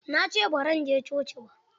Na ce ba zan je coci ba.